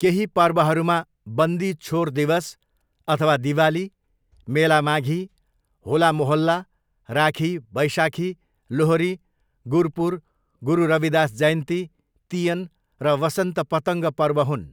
केही पर्वहरूमा बन्दी छोर दिवस अथवा दिवाली, मेला माघी, होला मोहल्ला, राखी, वैशाखी, लोहरी, गुरपुर, गुरु रविदास जयन्ती, तियन र वसन्त पतङ्ग पर्व हुन्।